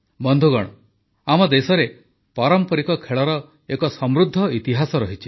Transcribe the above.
ବନ୍ଧୁଗଣ ଆମ ଦେଶରେ ପାରମ୍ପରିକ ଖେଳର ଏକ ସମୃଦ୍ଧ ଇତିହାସ ରହିଛି